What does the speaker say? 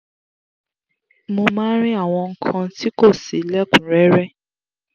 mo máa ń rí àwọn nǹkan tí kò si lẹ̀kúnrẹrẹ